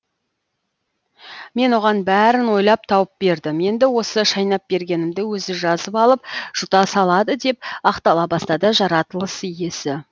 мен оған бәрін ойлап тауып бердім енді осы шайнап бергенімді өзі жазып алып жұта салады деп ақтала бастады жаратылыс иесі